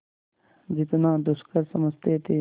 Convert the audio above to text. जितना दुष्कर समझते थे